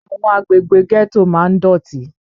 Àwọn àgbègbè ghetto máa ń dọ̀tí